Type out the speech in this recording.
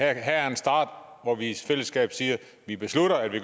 an her er en start hvor vi i fællesskab siger vi beslutter at vi